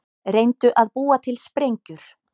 Reyndu að búa til sprengjur